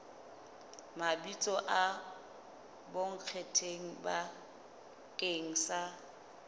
mabitso a bonkgetheng bakeng sa